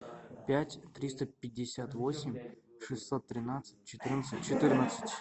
пять триста пятьдесят восемь шестьсот тринадцать четырнадцать четырнадцать